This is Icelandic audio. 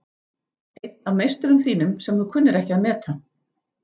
Einn af meisturum þínum sem þú kunnir ekki að meta.